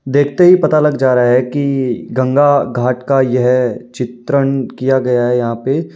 देखते ही पता लग जा रहा है कि गंगा घाट का यह चित्रण किया गया है यहाँ पे।